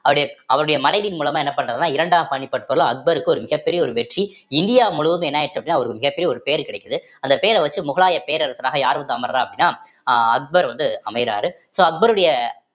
அவருடைய அவருடைய மறைவின் மூலமா என்ன பண்றாருன்னா இரண்டாம் பானிபட் போர்ல அக்பருக்கு ஒரு மிகப்பெரிய ஒரு வெற்றி இந்தியா முழுவதும் என்ன ஆயிருச்சு அப்படின்னா அவருக்கு மிகப்பெரிய ஒரு பேரு கிடைக்குது அந்த பேர வச்சு முகலாய பேரரசராக யார் வந்து அமர்றா அப்படின்னா அஹ் அக்பர் வந்து அமையறாரு so அக்பருடைய